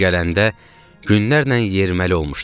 Bura gələndə günlərlə yeriməli olmuşduq.